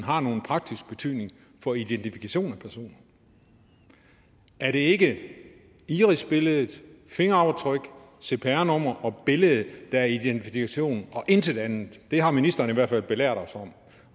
har nogen praktisk betydning for identifikation af personen er det ikke irisbillede fingeraftryk cpr nummer og billede der er identifikation og intet andet det har ministeren i hvert fald belært os om